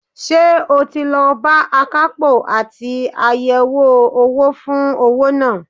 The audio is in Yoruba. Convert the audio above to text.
Ṣé o ti lọ bá akapo àti àyẹ̀wò owó fún owó náà?